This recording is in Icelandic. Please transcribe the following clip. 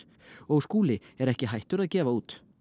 Skúli er ekki hættur að gefa út